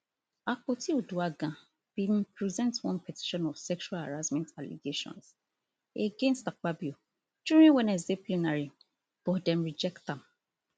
akpotiuduaghan bin present one petition of sexual harassment allegations against akpabio during wednesday plenary but dem reject am